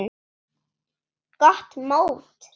Gott mót.